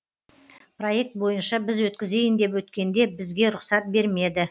проект бойынша біз өткізейін деп өткенде бізге рұқсат бермеді